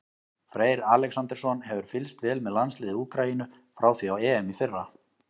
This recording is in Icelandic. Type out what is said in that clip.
Freyr Alexandersson hefur fylgst vel með landsliði Úkraínu frá því á EM í fyrra.